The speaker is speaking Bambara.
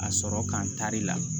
A sɔrɔ ka n tari la